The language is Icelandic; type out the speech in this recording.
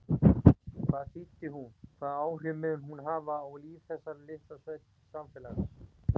Hvað þýddi hún, hvaða áhrif mun hún hafa á líf þessa litla samfélags?